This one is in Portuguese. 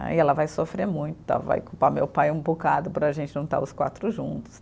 Aí ela vai sofrer muito, vai culpar meu pai um bocado por a gente não estar os quatro juntos.